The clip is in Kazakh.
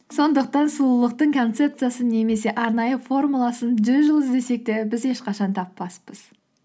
сондықтан сұлулықтың концепциясын немесе арнайы формуласын жүз жыл іздесек те біз ешқашан таппаспыз